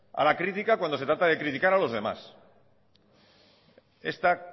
a la crítica cuando se trata de criticar a los demás esta